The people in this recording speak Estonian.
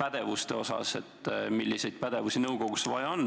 pädevuste osas, et selgitada välja, milliseid pädevusi nõukogusse on vaja.